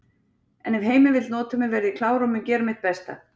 En ef Heimir vill nota mig verð ég klár og mun gera mitt besta.